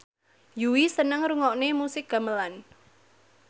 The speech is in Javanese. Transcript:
Yui seneng ngrungokne musik gamelan